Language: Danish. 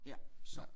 Ja så